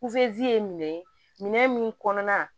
ye minɛ min kɔnɔna